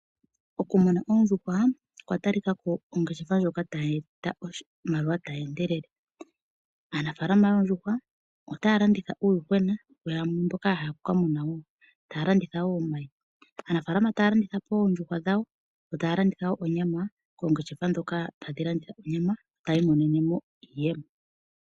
Okumuna ondjuhwa oondjuhwa okwa talikako ongeshefa ndjoka tayi ningi oshimaliwa, aanafaalama yoondjuhwa otaya landitha koongeshefa ndhoka tadhi landitha onyama nenge omayi yo taya imonenemo iiyemo.